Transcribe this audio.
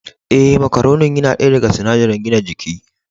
Ee, macaronin yana daya daga sunadari gina jiki.